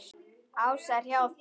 Ása er hjá þeim.